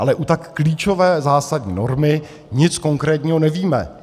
Ale u tak klíčové zásadní normy nic konkrétního nevíme.